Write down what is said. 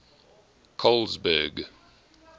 colesberg